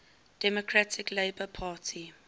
democratic labour party